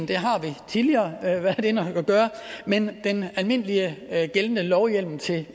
det har vi tidligere været inde og gøre men den almindelige gældende lovhjemmel til